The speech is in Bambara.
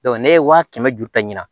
ne ye waa kɛmɛ ju ta ɲina